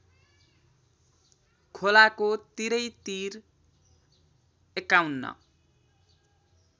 खोलाको तिरैतिर ५१